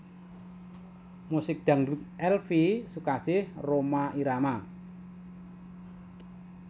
Musik Dangdut Elvie Sukaesih Rhoma Irama